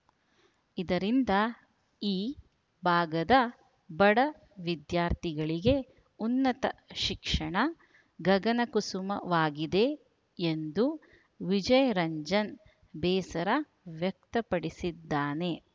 ಇದರಿಂದ ಈ ಭಾಗದ ಬಡ ವಿದ್ಯಾರ್ಥಿಗಳಿಗೆ ಉನ್ನತ ಶಿಕ್ಷಣ ಗಗನಕುಸುಮವಾಗಿದೆ ಎಂದು ವಿಜಯರಂಜನ್‌ ಬೇಸರ ವ್ಯಕ್ತಪಡಿಸಿದ್ದಾನೆ